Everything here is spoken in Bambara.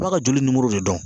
A b'a ka joli nimoro de dɔn.